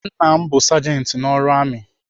Nna m bụ sajenti n'ọrụ amị.